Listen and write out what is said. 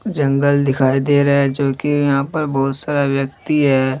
जंगल दिखाई दे रहा है जो कि यहा पर बहोत सारा व्यक्ती है।